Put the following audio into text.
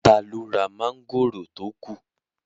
Taló ra mọ́ngòrò tó kù?